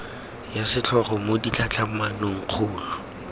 ya setlhogo mo ditlhatlhamanong kgolo